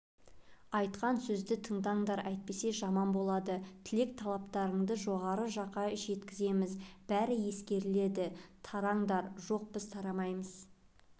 айтқан сөзді тыңдаңдар әйтпесе жаман болады тілек-талаптарыңды жоғары жаққа жеткіземіз бәрі ескеріледі тараңдар жоқ біз тарамаймыз